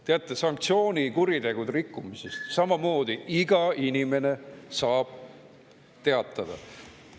Teate, sanktsioonikuritegude rikkumisest samamoodi iga inimene saab teatada.